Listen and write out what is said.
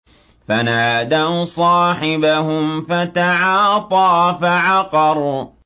فَنَادَوْا صَاحِبَهُمْ فَتَعَاطَىٰ فَعَقَرَ